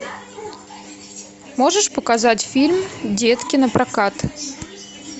можешь показать фильм детки напрокат